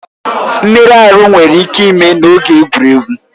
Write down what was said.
Mmerụ ahụ nwere ike ime n'oge egwuregwu.